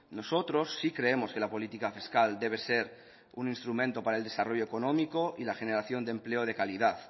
nosotros sí creemos que la política fiscal debe ser un instrumento para el desarrollo económico y la generación de empleo de calidad